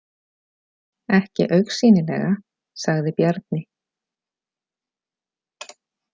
Ekki augsýnilega, sagði Bjarni.